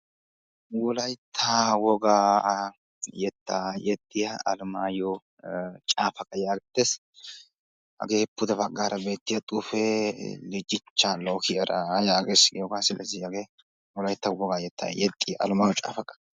Wolaytta wogaa yettaa yexxiya alemaayo caafaqa yaagettes. Hagee pude baggaara beettiya xuufee ijinchchaa lokkiyara yaages. Wolaytta wogaa yettaa yexxiya alemaayo caafaqa.